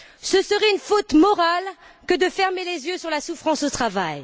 Ce serait une faute morale que de fermer les yeux sur la souffrance au travail.